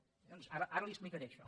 bé doncs ara li ho explicaré això